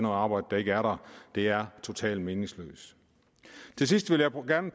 arbejde der ikke er der det er totalt meningsløst til sidst vil jeg gerne